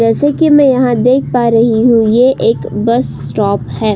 जैसे कि मैं यहाँ देख पा रही हूं ये एक बस स्टॉप है।